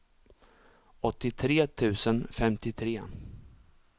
åttiotre tusen femtiotre